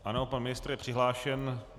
Ano, pan ministr je přihlášen.